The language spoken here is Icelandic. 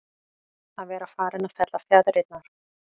Að vera farinn að fella fjaðrirnar